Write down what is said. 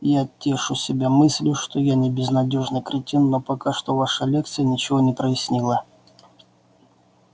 я тешу себя мыслью что я не безнадёжный кретин но пока что ваша лекция ничего не прояснила